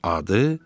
Adı?